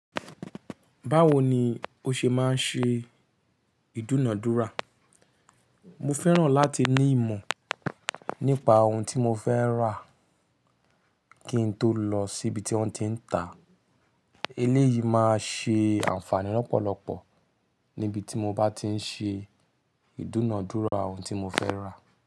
Báwo ni ó ṣe máa ń ṣe ìdúnadúrà? Mo fẹ́ràn láti ní ìmọ̀ nípa ohun tí mo fẹ́ rà kí n tó lọ síbi tí wọ́n ti ń ta. Eléyìí máa ṣe àǹfààní lọ́pọ̀lọpọ̀ níbi tí mo bá ti ń ṣe ìdúnadúrà ohun tí mo fẹ́ rà.